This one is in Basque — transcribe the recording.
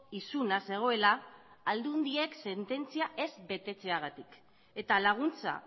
isuna zegoela aldundiek sententzia ez betetzeagatik eta laguntza